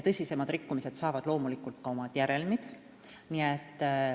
Tõsisematel rikkumistel on loomulikult ka oma järelmid.